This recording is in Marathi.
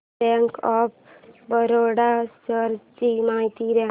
बँक ऑफ बरोडा शेअर्स ची माहिती दे